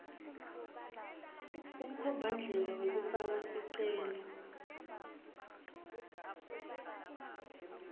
kumkhombandlela wekufaka sicelo